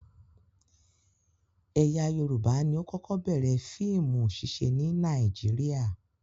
Ẹ̀yà Yorùbá ni ó kọ́kọ́ bẹ̀rẹ̀ fíìmù ṣíṣe ní Nàíjíríà.